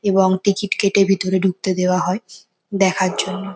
এবং কেটে ভেতরে ঢুকতে দেওয়া হয় দেখার জন্য ।